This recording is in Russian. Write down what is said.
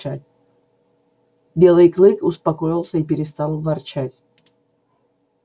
белый клык успокоился и перестал ворчать